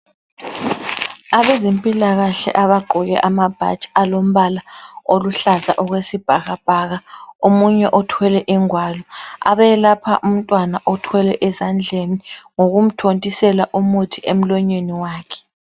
Abezempilakahle abagqoke amabhatshi alombala oluhlaza okwesibhakabhaka, omunye othwele ingwalo, abayelapha umntwana othwelwe esandleni ngokumthontisela umuthi emlonyeni wakhe.